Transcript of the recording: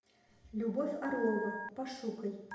любовь орлова пошукай